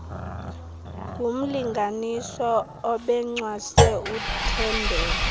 ngumlinganiswa obencwase uthembeka